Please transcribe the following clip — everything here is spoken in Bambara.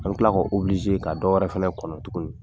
An mi kila ka ka dɔ wɛrɛ fɛnɛ kɔnɔ tuguni.